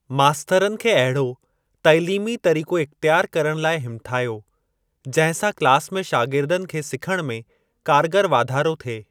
मास्तरनि खे अहिड़ो तइलीमी तरीक़ो इख्तयार करण लाइ हिमथायो, जंहिं सां क्लास में शागिर्दनि खे सिखण में कारगर वाधारो थिए।